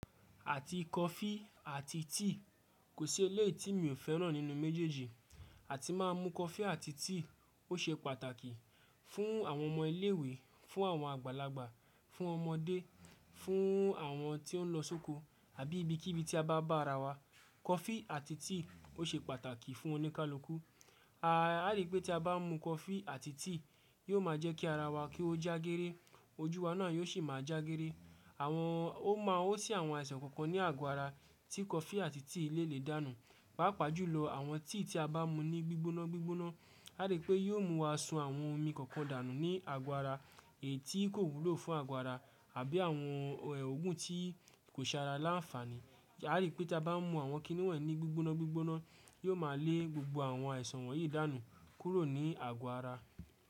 Àti coffee àti tea kò sí eléyìí tí mi ò fẹ́ràn nínú méjèèjì. Àti má mú coffee àti tea ó ṣe pàtàkì fún àwọn ọmọ ilé ìwé, fún àwọn àgbàlagbà, fún ọmọdé, fún àwọn tí ó ń lọ sóko àbí ibikíbi tí a bá bá ara wa. Coffee àti tea ó ṣe pàtàkì fún oníkálukú. A rí pé tí a bá mú coffee àti tea, yóò má jẹ́ kí ara wa kí ó jágéré, ojú wa náà yóò sì máa jágéré. Àwọn-- ó máa ó sì àwọn àìsàn kankan ní àgọ ara tí coffee àti tea lè lè dànù. Páápàá jùlọ àwọn tea tí a bá mú ní gbígbóná gbígbóná. A rí pé yóò mú wa sun àwọn omi kọ̀ọ̀kan dànù ní àgọ ara èyí tí kò wúlò fún àgọ ara àbí àwọn òógùn tí kò ṣe ara láǹfààní. A rí pé tí a bá mú àwọn kíní wọ̀nyí ní gbígbóná gbígbóná, yóò máa lé gbogbo àwọn àìsàn wọ̀nyí dànù kúrò ní àgọ ara.